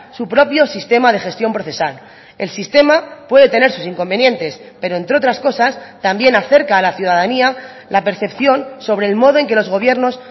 su propio sistema de gestión procesal el sistema puede tener sus inconvenientes pero entre otras cosas también acerca a la ciudadanía la percepción sobre el modo en que los gobiernos